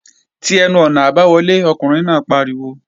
Ti ẹnu-ọ̀nà àbáwọlé! Ọkùnrin náà pariwo